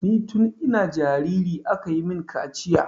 Ni tun ina jariri aka yi min kaciya.